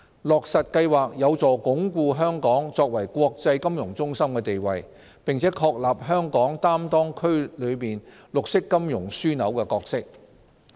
落實計劃有助鞏固香港作為國際金融中心的地位，並確立香港擔當區內綠色金融樞紐的角色。